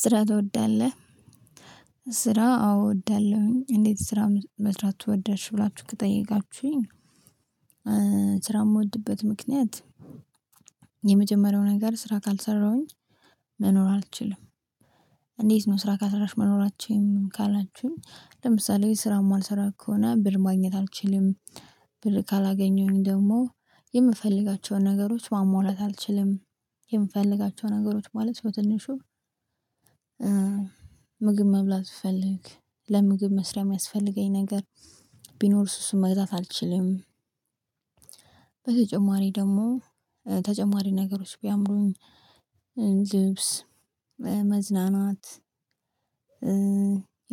ስራ ትወዳለህ? ስራ አዎ እወዳለሁኝ። እንዴት? ስራ መስራት ወደድሽ ብላችሁ ከጠየቃችሁኝ ስራ የምወድበት ምክንያት። የመጀመሪያው ነገር ስራ ካልሰራሁኝ መኖር አልችልም። እንዴት ነው ስራ ካሰራሽ መኖር አትችይም ካላችሁኝ? ለምሳሌ ስራ የማልሰራ ከሆነ ብር ማግኘት አልችልም። ብር ካላገኘሁኝ ደግሞ የምፈልጋቸውን ነገሮች ማሟላት አልችልም። የምፈልጋቸውን ነገሮች ማለት በትንሹ ምግብ መብላት ስፈልግ ለምግብ መስሪያ የሚያስፈልገኝ ነገር ቢኖር እሱ እሱን መግዛት አልችልም። በተጨማሪ ደግሞ ተጨማሪ ነገሮች ቢያምሩኝ። ልብስ መዝናናት።